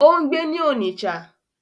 Ó ń gbé ní Onitsha.